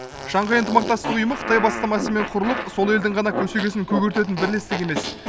шанхай ынтымақтастық ұйымы қытай бастамасымен құрылып сол елдің ғана көсегесін көгертетін бірлестік емес